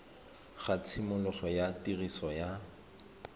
ga tshimologo ya tiriso ya